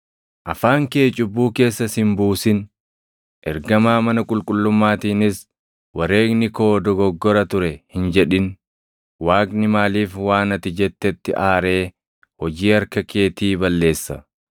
Afaan kee cubbuu keessa si hin buusin. Ergamaa mana qulqullummaatiinis, “Wareegni koo dogoggora ture” hin jedhin. Waaqni maaliif waan ati jettetti aaree hojii harka keetii balleessa?